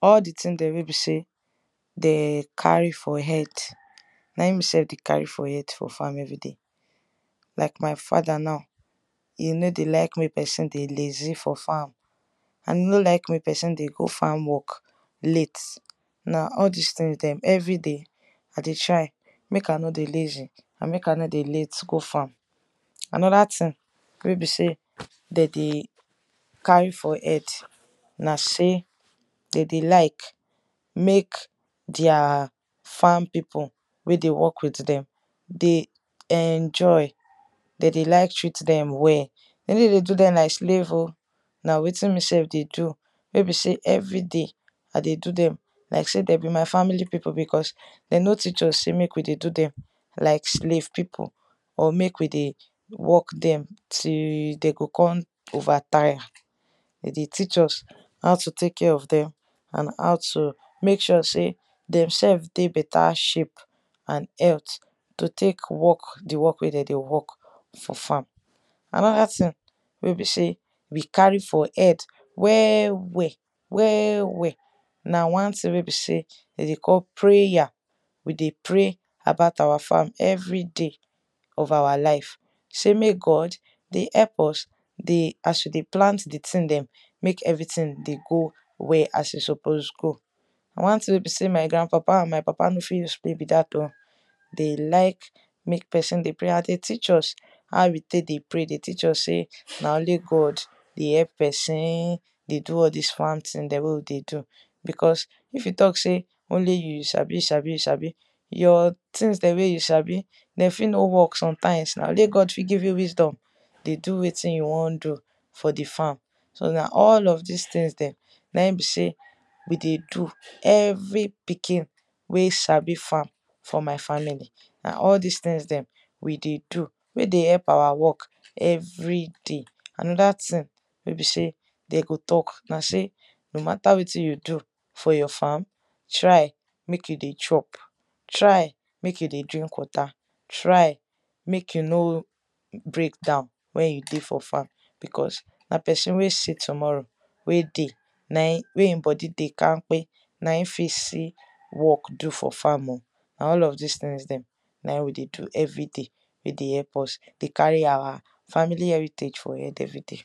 all di thing dem wey be sey den carry for head na in me self dey carry for head everyday. like my fada now, e no dey like mek pesin dey lazy for farm, e no dey like mek pesin dey go farm work late na all dis things dem we dey try mek i no dey lazy, mek i no dey late gofarm. anoda thing wey be sey de dey carry for head na sey de dey like mek their farm pipu wey de work wit dem de enjoy de dey like treat dem well, de no dey do dem like slave oh, na wetin me self dey do. no be sey everyday i dey do dem like ey de be my family pipu because de no teach us sey mek we dey do dem like slave pipu or mek we dey work dem till de go kon over tire de dey teach us how to tek care of dem and how to mek sure sey dem self dey beta shape. and health to tek work di work wey de dey work for farm. anoda thing wey be sey we carry for head well well well well na wan thing wey be sey de dey call prayer. we dey pray about our farm everyday of our life sey mek God help dey us as we dey plant di thing dem, mek every thing dey go as e suppose go. one thing wey be sey my grand-papa and my papa no fit explain be dat oh, de like mek pesin dey pray and den teach us how we tek dey pray de teach us sey na only God dey help pesin dey do all dis farm thing dem wey we dey do. because if we talk sey only you you sabi you sabi you sabi, your things dem wey you sabi, den fit no work somtimes na only God fit give you wisdom dey do wein you won do for di farm so na all of dis things dem na in be sey we dey do every pikin wey sabi farm for my family na all dis things dem we dey do wey dey help awa work every day. anoda thing wey be say dem go talk na sey no matta wetin you do, for your farm, try mek you dey chop, try mek you dey drink water, try mek you no break down wen you dey for farm because na pesin wey see tomorrow wey dey wey e bodi dey campe na in fit see work do for farm oh nah all of dis tings dem. na in we dey do everyday wey dey help us dey carry awa family heritage for head everyday.